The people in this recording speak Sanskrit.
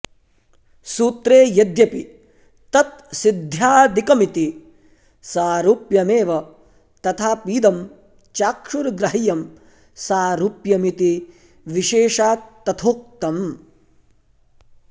सूत्रे यद्यपि तत्सिद्ध्यादिकमिति सारुप्यमेव तथापीदं चाक्षुर्ग्राह्यं सारुप्यमिति विशेषात् तथोक्तम